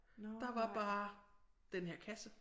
Der var bare den her kasse